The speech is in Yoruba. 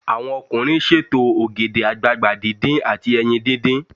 Àwọn ọkùnrin ṣètò ògèdè àgbagbà díndín àti ẹyin díndín.